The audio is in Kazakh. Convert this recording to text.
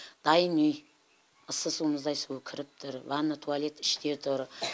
дайын үй ыссы су мұздай су кіріп тұр ванна туалет іште тұр